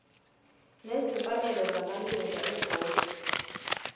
nezimfanelo zamalunga ebhodi